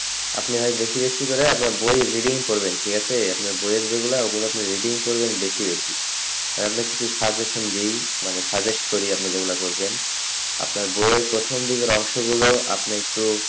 আপনি হয় বেশি বেশি করে এক বার বই reading পড়বেন ঠিক আছে আপনার বইয়ের যেগুলা ওগুলা reading পড়বেন বেশি বেশি আর আপনাকে কিছু suggestion দিই মানে suggest করি আপনি যেইগুলা করবেন আপনার বইয়ের প্রথম দিকের অংশ গুলো আপনি একটু,